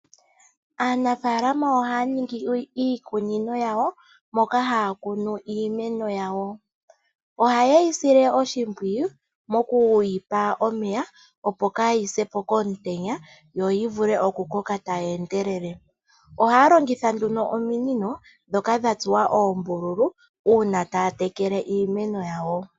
Aanafalama ohaya ningi iikunino yawo moka haya kunu iimeno yawo. Ohaye yi sile oshimpwiyu mokuyi pa omeya opo kaayise po komutenya yo yi vule okukoka tayi endelele. Ohaya longitha nduno ominino dhoka dha tsuwa oombululu uuna taya tekele iimeno yawo.